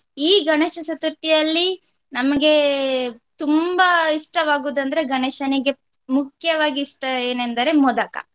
ಈ ಗಣೇಶ ಚತುರ್ಥಿಯಲ್ಲಿ ನಮಗೆ ತುಂಬಾ ಇಷ್ಟವಾಗುದಂದ್ರೆ ಗಣೇಶನಿಗೆ ಮುಖ್ಯವಾಗಿ ಇಷ್ಟ ಏನಂದರೆ ಮೋದಕ.